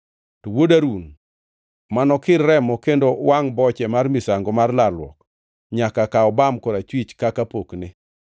To wuod Harun mano kir remo kendo wangʼ boche mar misango mar lalruok nyaka kaw bam korachwich kaka pokne.